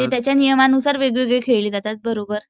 ते त्याच्या नियमानुसार वेगवेगळे खेळले जातात. बरोबर.